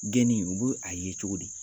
Geni u be a ye cogo di?